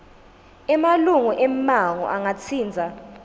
emalunga emmango angatsintsa